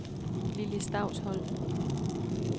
Lili Stausholm